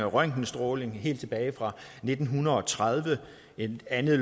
røntgenstråling helt tilbage fra nitten tredive en anden